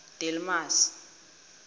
delmasi